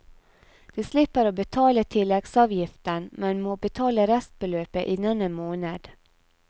De slipper å betale tilleggsavgiften, men må betale restbeløpet innen en måned.